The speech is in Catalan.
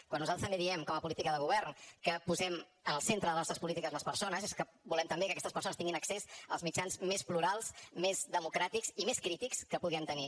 quan nosaltres també diem com a política de govern que po sem en el centre de les nostres polítiques les persones és que volem també que aquestes persones tinguin accés als mitjans més plurals més democràtics i més crítics que puguem tenir